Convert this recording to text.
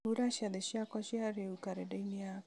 hura ciathĩ ciakwa cia rĩu karenda-inĩ yakwa